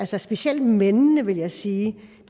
specielt mændene vil jeg sige